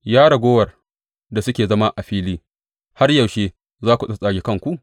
Ya raguwar da suke zama a fili, har yaushe za ku tsattsage kanku?